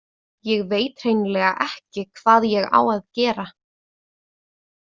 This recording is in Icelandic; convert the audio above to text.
Ég veit hreinlega ekki hvað ég á að gera.